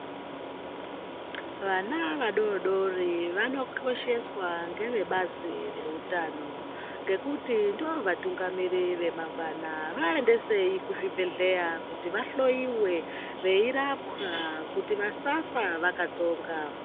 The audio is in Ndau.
Vana vadodori vanokosheswa ngevebazi rewutano, ngekuti ndovatungamiri vemangwana. Vayendeseyi kuzvibhedhleya kuti vahloyiwe, veyirapwa kuti vasafa vakatsonga.